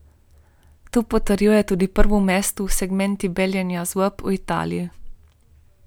To potrjuje tudi prvo mesto v segmentu beljenja zob v Italiji.